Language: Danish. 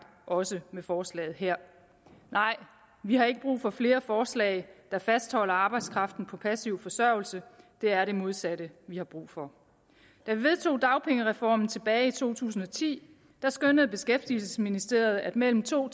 også med forslaget her nej vi har ikke brug for flere forslag der fastholder arbejdskraften på passiv forsørgelse det er det modsatte vi har brug for da vi vedtog dagpengereformen tilbage i to tusind og ti skønnede beskæftigelsesministeriet at mellem to